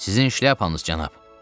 Sizin şlyapanız cənab!